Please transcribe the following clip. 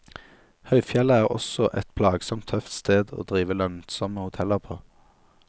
Høyfjellet er også et plagsomt tøft sted å drive lønnsomme hoteller på.